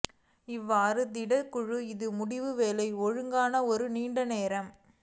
இவ்வாறு the Dutch குழு இது முடியும் வேலை ஒழுங்காக ஒரு நீண்ட நேரம்